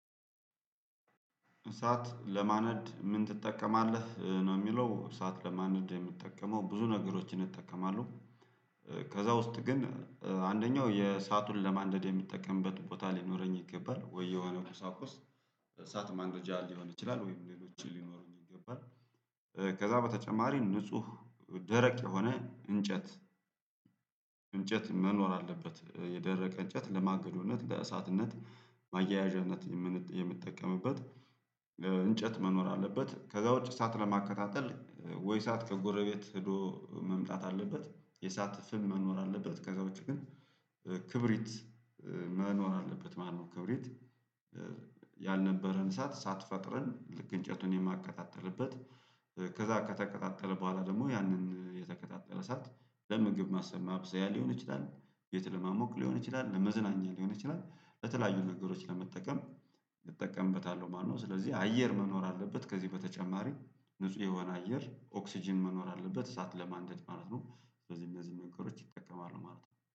እሳት ለማነድ ምን ትጠቀማለህ ነው ሚለው እሳት ለማነድ የምጠቀመው ብዙ ነገሮችን እጠቀማለሁ ከዛ ውስጥ ግን አንደኛው የእሳቱን ለማንደድ የምጠቀምበት ቦታ ሊኖረኝ ይገባል ወይ የሆነ ቁሳቁስ እሳት ማንደጃ ሊሆን ይችላል ወይም ሌሎች ሊኖሩኝ ይገባል ከዛ በተጨማሪ ንጹህ ደረቅ የሆነ እንጨት እንጨት መኖር አለበት የደረቀ እንጨት ለማገዶነት፣ ለእሳትነት፣ ማያያዣነት የምን የምንጠቀምበት እንጨት መኖር አለበት። ከዛ ውጪ እሳት ለማቀጣጠል ወይ እሳት ከጎረቤት ሄዶ መምጣት አለበት የእሳት ፍም መኖር አለበት ከዛ ውጪ ግን ክብሪት መኖር አለበት ማለትነው ክብሪት ያልነበረን እሳት እሳት ፈጥረን ልክ እንጨቱን የማቀጣጥልበት ከዛ ከተቀጣጠለ በኋላ ደግሞ ያንን የተቀጣጠለ እሳት ለምግብ ማብሰያ ሊሆን ይችላል ቤት ለማሞቅ ሊሆን ይችላል ለመዝናኛ ሊሆን ይችላል ለተለያዩ ነገሮች ለመጠቀም እጠቀምበታለሁ ማለት ነው ስለዚህ አየር መኖር አለበት ከዚህ በተጨማሪ ንጹህ የሆነ አየር ኦክስጅን መኖር አለበት እሳት ለማንደድ ማለት ነው እነዚህ እነዚህ መንገዶች እጠቀማለው ማለት ነው